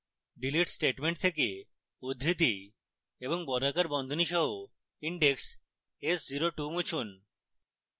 delete statement থেকে উদ্ধৃতি এবং বর্গাকার বন্ধনী সহ index s02 মুছুন